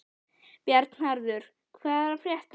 Bjarnharður, hvað er að frétta?